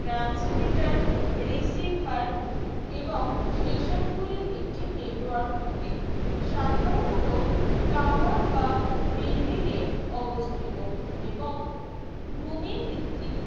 transmeter receiver এবং station গুলি একটি network থাকে সাধারণতঃ tower বা building এ অবস্থিত এবং ভূমি ভিত্তিক